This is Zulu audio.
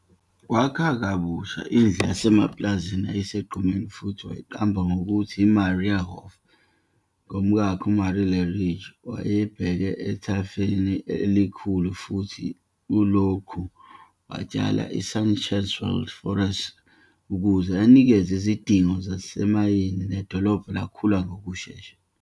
Wakha kabusha indlu yasemapulazini eyayisegqumeni futhi wayiqamba ngokuthi "IMarienhof" ngomkakhe, uMarie. Le-ridge yayibheke ethafeni elikhulu futhi kulokhu watshala iSachsenwald Forest ukuze anikeze izidingo zezimayini nedolobha elikhula ngokushesha.